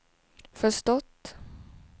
förstått